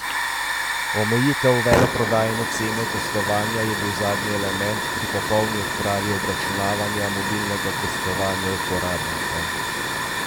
Omejitev veleprodajne cene gostovanja je bila zadnji element pri popolni odpravi obračunavanja mobilnega gostovanja uporabnikom.